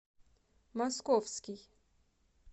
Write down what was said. московский